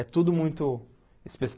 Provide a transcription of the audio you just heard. É tudo muito